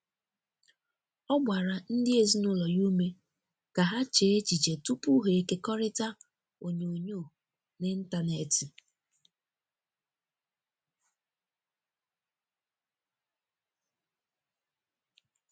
ọ gbara ndi ezinulo ya ụme ka ha chee echiche tụpụ ha ekekọrita onyonyo n'intanetị.